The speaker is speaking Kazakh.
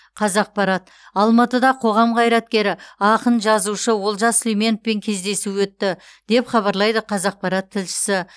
қазақпарат алматыда қоғам қайраткері ақын жазушы олжас сүлейменовпен кездесу өтті деп хабарлайды қазақпарат тілшісі